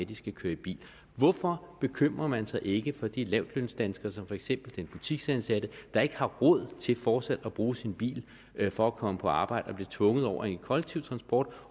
de skal køre i bil hvorfor bekymrer man sig ikke for de lavtlønsdanskere som for eksempel den butiksansatte der ikke har råd til fortsat at bruge sin bil for at komme på arbejde og bliver tvunget over i den kollektive transport